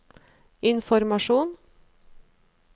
informasjon